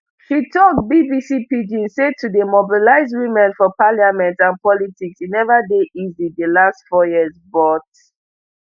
she tok bbc pidgin say to dey mobilize women for parliament and politics e neva dey easy di last four years but